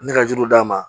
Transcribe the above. Ne ka juru d'a ma